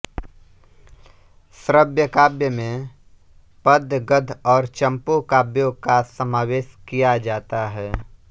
श्रव्यकाव्य में पद्य गद्य और चम्पू काव्यों का समावेश किया जाता है